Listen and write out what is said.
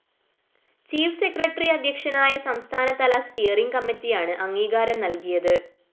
chief secretary അദ്ധ്യക്ഷനായ സംസ്ഥാനതല steering കമ്മറ്റിയാണ് അംഗീകാരം നല്‍കിയത്